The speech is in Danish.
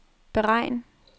beregn